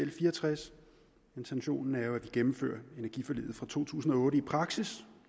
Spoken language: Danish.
l fire og tres intentionen er jo at gennemføre energiforliget fra to tusind og otte i praksis